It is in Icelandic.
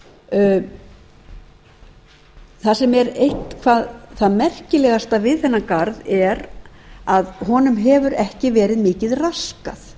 minjagarð það sem er eitt það það merkilegasta við þennan garð er að honum hefur ekki verið mikið raskað